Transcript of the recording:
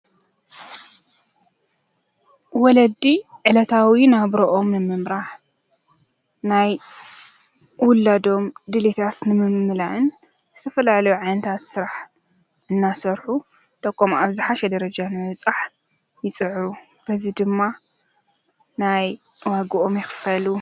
ወለዲ ዕለታዊ ናብሮኦም ንምምራሕ ፣ናይ ዉላዶም ድሌታት ንምምላእን ዝተፈላለዩ ዓይነታት ስራሕ እናሰርሑ ደቆም ኣብ ዝሓሸ ደረጃ ንምብፃሕ ይፅዕሩ። በዚ ድማ ናይ ዋግኦም ይክፈሉ፡፡